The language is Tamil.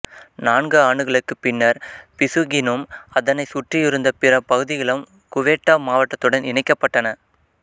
நான்கு ஆண்டுகளுக்குப் பின்னர் பிசுகினும் அதனைச் சுற்றியிருந்த பிற பகுதிகளும் குவெட்டா மாவட்டத்துடன் இணைக்கப்பட்டன